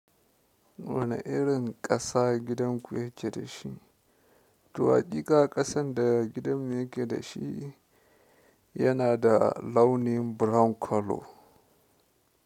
Wane irin ƙasa gidanku yake da shi? To haƙiƙa ƙasan da gidanmu yake da shi yana da launin brown color.